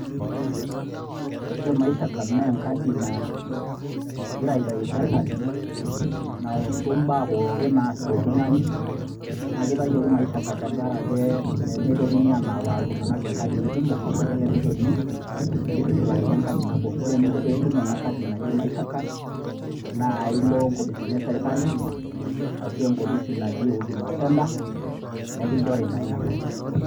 ore maisha card naa enkadi nagira aitayu serkali , nautu imbaa pookin naasita oltung'ani. naa keitayioki maisha card tenkaraki pee meitokini anapaailtung'anak inkaadii kumok naa kelelek eimin neitushulakini enkadi nabo. ore eninko pee itom ena kadi naji maisha card naa ilo inkopisini ee sirkali ashu enkopisi naji huduma center nekinjori naa ina kadi.